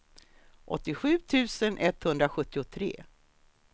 åttiosju tusen etthundrasjuttiotre